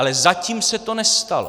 Ale zatím se to nestalo!